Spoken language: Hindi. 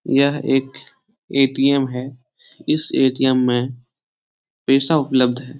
यह एक ए.टी.एम. है इस ए.टी.एम. में पैसा उपलब्ध है ।